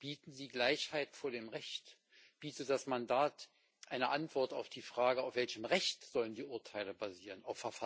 Bieten Sie Gleichheit vor dem Recht? Bietet das Mandat eine Antwort auf die Frage Auf welchem Recht sollen die Urteile basieren?